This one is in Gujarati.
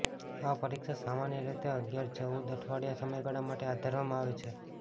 આ પરીક્ષા સામાન્ય રીતે અગિયાર ચૌદ અઠવાડિયા સમયગાળા માટે હાથ ધરવામાં આવે છે